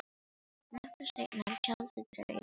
Nokkru seinna er tjaldið dregið fyrir.